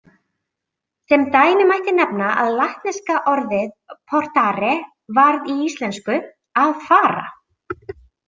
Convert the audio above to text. Sem dæmi mætti nefna að latneska orðið portare varð í íslensku að fara.